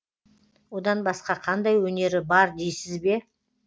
одан басқа қандай өнері бар дейсіз бе